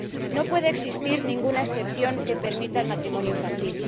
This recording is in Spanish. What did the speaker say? No puede existir ninguna excepción que permita el matrimonio infantil.